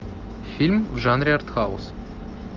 фильм в жанре арт хаус